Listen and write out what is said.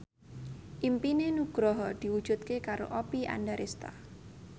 impine Nugroho diwujudke karo Oppie Andaresta